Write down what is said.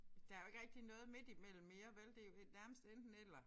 Der jo ikke rigtig noget midt imellem mere vel det jo nærmest enten eller